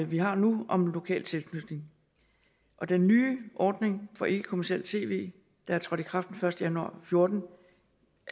vi har nu om lokal tilknytning og den nye ordning for ikkekommercielt tv der er trådt i kraft den første januar to og fjorten